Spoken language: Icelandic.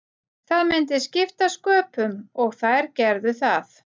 Það myndi skipta sköpum og þær gerðu það.